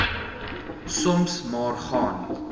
soms maar gaan